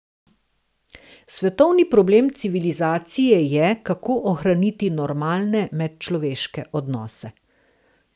Svetovni problem civilizacije je, kako ohraniti normalne medčloveške odnose.